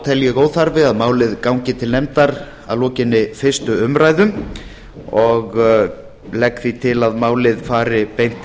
tel ég óþarfa að málið gangi til nefndar að lokinni fyrstu umræðu og legg því til að málið fari beint